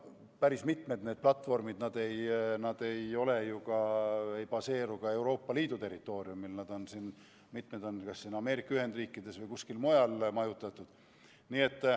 Päris mitmed platvormid ei asu ka Euroopa Liidu territooriumil, mitmed on majutatud kas Ameerika Ühendriikides või kuskil mujal.